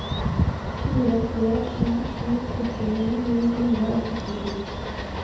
fire tre sju sju førtini ni hundre og førtisju